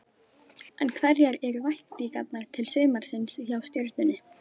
En hverjar eru væntingarnar til sumarsins hjá Stjörnunni?